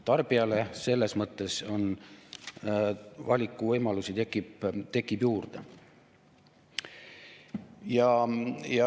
Tarbijale selles mõttes tekib valikuvõimalusi juurde.